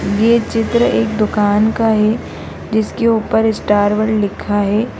ये चित्र एक दुकान का है जिसके ऊपर स्टार वर्ल्ड लिखा है।